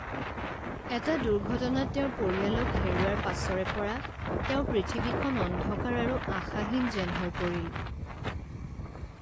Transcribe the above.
এটা দুৰ্ঘটনাত তেওঁৰ পৰিয়ালক হেৰুওৱাৰ পাছৰে পৰা তেওঁৰ পৃথিৱীখন অন্ধকাৰ আৰু আশাহীন যেন হৈ পৰিল।